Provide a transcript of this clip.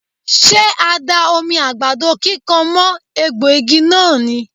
Ṣé a da omi àgbàdo kíkan mọ́ egbò igi náà ni?.